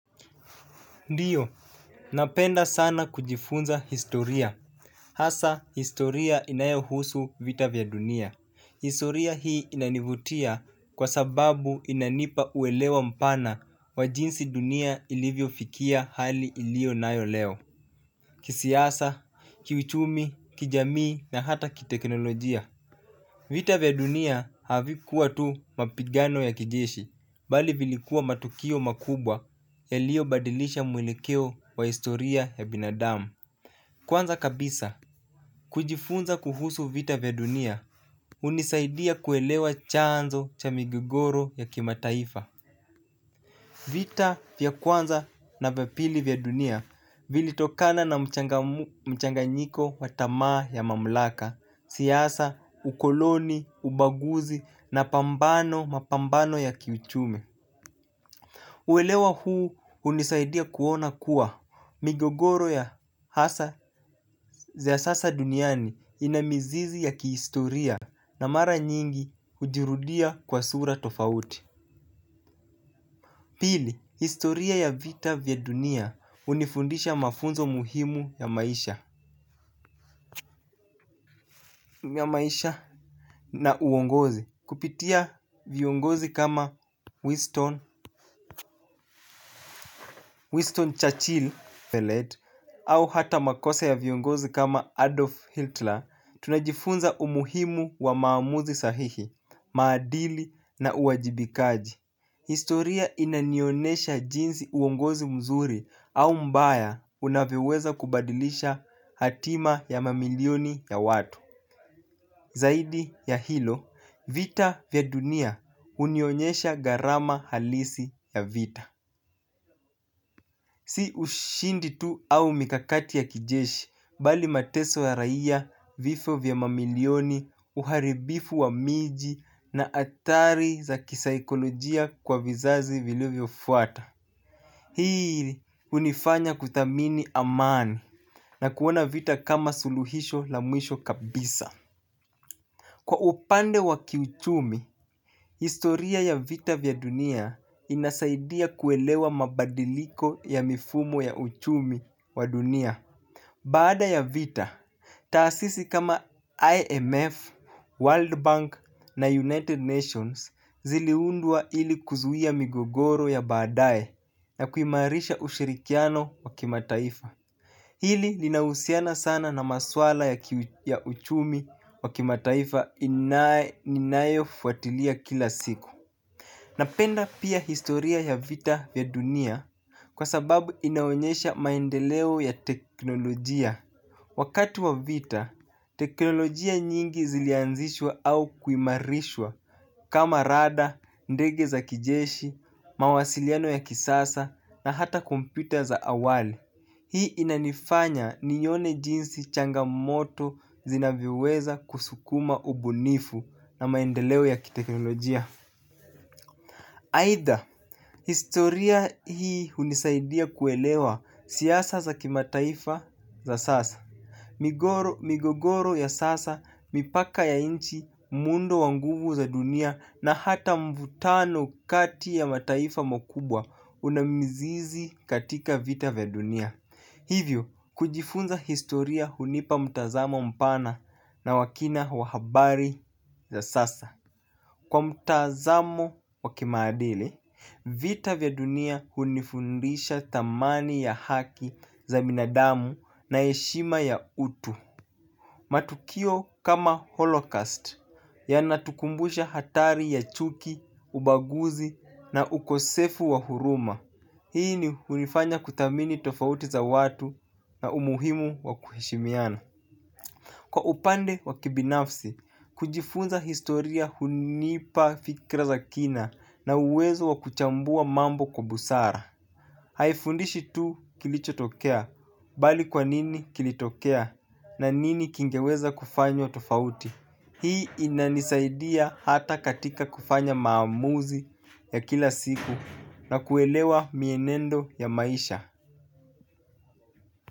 Ndiyo, napenda sana kujifunza historia. Hasaa, historia inayohusu vita vya dunia. Historia hii inanivutia kwa sababu inanipa uelewa mpana wa jinsi dunia ilivyofikia hali iliyo nayo leo. Kisiasa, kiuchumi, kijamii na hata kiteknolojia. Vita vya dunia havikuwa tu mapigano ya kijeshi, bali vilikuwa matukio makubwa yaliobadilisha mwelekeo wa historia ya binadamu. Kwanza kabisa, kujifunza kuhusu vita vya dunia, hunisaidia kuelewa chanzo cha migigoro ya kimataifa. Vita vya kwanza na vya pili vya dunia vilitokana na mchanganyiko wa tamaa ya mamlaka, siasa, ukoloni, ubaguzi na pambano mapambano ya kiuchumi. Uwelewa huu hunisaidia kuona kuwa. Migogoro ya hasa ya siasa duniani ina mizizi ya kihistoria na mara nyingi hujirudia kwa sura tofauti. Pili, historia ya vita vya dunia hunifundisha mafunzo muhimu ya maisha na uongozi. Kupitia viongozi kama Winston Churchill Au hata makosa ya viongozi kama Adolf Hitler, tunajifunza umuhimu wa maamuzi sahihi, maadili na uwajibikaji. Historia inanionesha jinzi uongozi mzuri au mbaya unavyoweza kubadilisha hatima ya mamilioni ya watu. Zaidi ya hilo, vita vya dunia unionyesha gharama halisi ya vita. Si ushindi tu au mikakati ya kijeshi bali mateso ya raia vifo vya mamilioni uharibifu wa miji na atari za kisaikolojia kwa vizazi vilivyofuata. Hii hunifanya kuthamini amani na kuona vita kama suluhisho la mwisho kabisa. Kwa upande wa kiuchumi, historia ya vita vya dunia inasaidia kuelewa mabadiliko ya mifumo ya uchumi wa dunia. Baada ya vita, taasisi kama IMF, World Bank na United Nations ziliundwa ili kuzuia migogoro ya baadaye na kuimarisha ushirikiano wa kimataifa. Hili linahusiana sana na maswala ya uchumi wa kimataifa ninayofuatilia kila siku. Napenda pia historia ya vita vya dunia kwa sababu inaonyesha maendeleo ya teknolojia. Wakati wa vita, teknolojia nyingi zilianzishwa au kuimarishwa kama rada, ndege za kijeshi, mawasiliano ya kisasa na hata kompyuta za awali. Hii inanifanya nione jinsi changamoto zinavyoweza kusukuma ubunifu na maendeleo ya teknolojia. Aidha, historia hii hunisaidia kuelewa siasa za kimataifa za sasa. Migogoro ya sasa, mipaka ya inchi, muundo wa nguvu za dunia na hata mvutano kati ya mataifa makubwa una mizizi katika vita vya dunia. Hivyo, kujifunza historia hunipa mtazamo mpana na wa kina wa habari za sasa. Kwa mtazamo wa kimaadili, vita vya dunia hunifundisha thamani ya haki za binadamu na heshima ya utu. Matukio kama holocaust yanatukumbusha hatari ya chuki, ubaguzi na ukosefu wa huruma. Hii hunifanya kuthamini tofauti za watu na umuhimu wa kuheshimiana. Kwa upande wa kibinafsi, kujifunza historia hunipa fikra za kina na uwezo wa kuchambua mambo kwa busara. Haifundishi tu kilicho tokea, bali kwa nini kilitokea na nini kingeweza kufanywa tofauti. Hii inanisaidia hata katika kufanya maamuzi ya kila siku na kuelewa mienendo ya maisha.